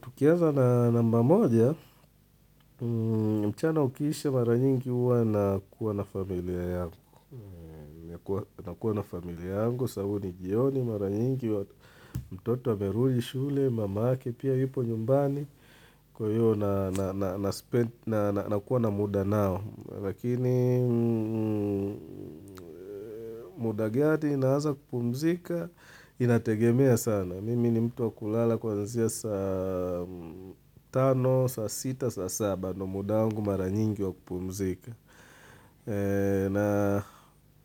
Tukianza na namba moja, mchana ukiisha mara nyingi huwa nakuwa na familia yangu. Nakuwa na familia yangu, sababu ni jioni mara nyingi, mtoto amerudi shule, mamake, pia yupo nyumbani. Kwa hiyo nakuwa na muda nao. Lakini muda gani naanza kupumzika, inategemea sana. Mimi ni mtu wa kulala kuanzia saa tano, saa sita, saa saba. Ndio muda wangu mara nyingi wa kupumzika.